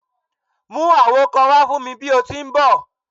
Mu awo kan wa fun mi bi o ti n bọ!